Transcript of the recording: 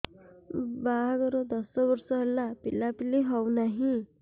ବାହାଘର ଦଶ ବର୍ଷ ହେଲା ପିଲାପିଲି ହଉନାହି